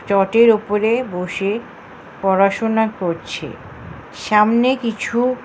ছাদের ওপরে বসে পড়াশোনা করছে সামনে কিছু--